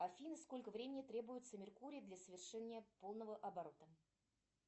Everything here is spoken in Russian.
афина сколько времени требуется меркурию для совершения полного оборота